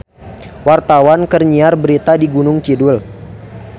Wartawan keur nyiar berita di Gunung Kidul